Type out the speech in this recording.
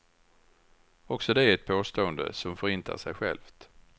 Också det är ett påstående som förintar sig självt.